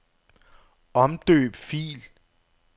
Omdøb fil.